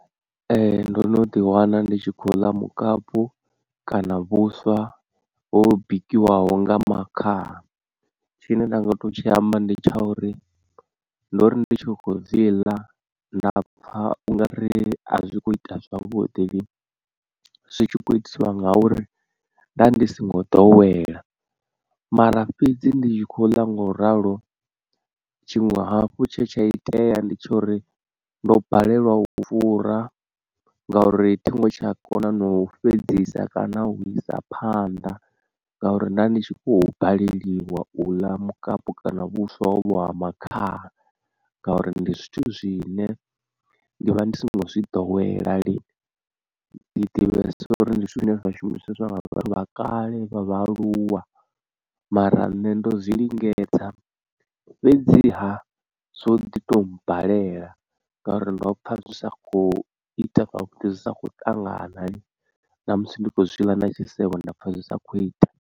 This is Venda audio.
Ee ndo no ḓi wana ndi tshi khou ḽa mukapu kana vhuswa ho bikiwaho nga makhaha, tshine nda nga to tshi amba ndi tsha uri ndori ndi tshi khou zwi ḽa nda pfha u nga ri a zwi kho ita zwavhuḓi lini, zwi tshi khou itisiwa ngauri nda ndi singo ḓowela mara fhedzi ndi tshi khou ḽa ngo ralo tshiṅwe hafhu tshe tsha itea ndi tshori ndo balelwa u fura ngauri thingo tsha kona na u fhedzisa kana u isa phanḓa ngauri nda ndi tshi khou baleliwa u ḽa mukapu kana vhuswa ho vho ha makhaha ngauri ndi zwithu zwine ndi vha ndi songo zwi ḓowela lini, ndi ḓivhesesa uri ndi zwithu zwine zwa shumiswa nga vhathu kale, vha vha aluwa mara nṋe ndo zwi lingedza fhedziha zwo ḓi to mbalela ngauri ndo pfa zwi sa kho ita zwi sa kho ṱangana na musi ndi khou zwiḽa na tshisevho nda pfha zwi sa kho ita.